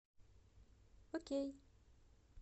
окей